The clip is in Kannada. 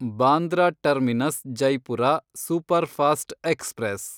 Bandra terminus Jaipur superfast express